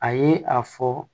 A ye a fɔ